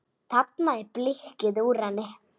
Þarna er blikkið úr henni.